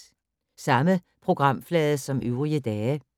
Samme programflade som øvrige dage